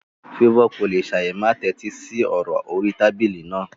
Favour kò lè ṣáì má tẹ́tí sí ọ̀rọ̀ orí tábìlì náà.